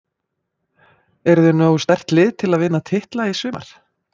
Eruð þið með nógu sterkt lið til að vinna titla í sumar?